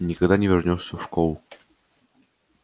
никогда больше не вернёшься в ту школу никогда